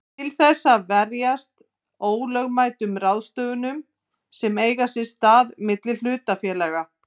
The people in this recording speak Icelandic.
til þess að verjast ólögmætum ráðstöfunum sem eiga sér stað milli hlutafélaga.